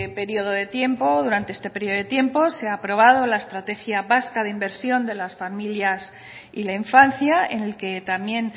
periodo de tiempo durante este periodo de tiempo se ha aprobado la estrategia vasca de inversión de las familias y la infancia en el que también